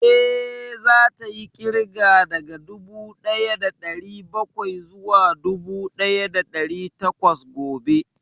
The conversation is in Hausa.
Eh, za ta yi ƙirga daga dubu ɗaya da ɗari bakwai zuwa dubu ɗaya da ɗari takwas gobe